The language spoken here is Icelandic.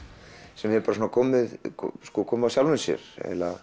sem hefur komið komið af sjálfri sér